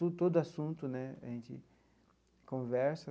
Todo assunto né a gente conversa.